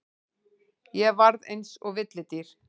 Ég varð eins og villidýr.